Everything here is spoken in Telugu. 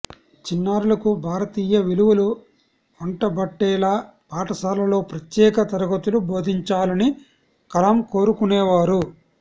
చిన్నారులకు భారతీయ విలువలు ఒంటబట్టేలా పాఠశాలల్లో ప్రత్యేక తరగతులు బోధించాలని కలాం కోరుకునేవారు